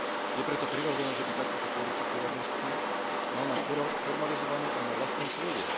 Je preto prirodzené, že by takúto politiku rovnosti mal mať formalizovanú aj na vlastnej pôde.